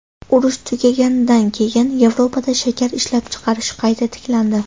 Urush tugaganidan keyin Yevropada shakar ishlab chiqarish qayta tiklandi.